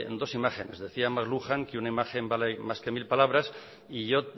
dos imágenes decía mcluhan que una imagen vale más que mil palabras y yo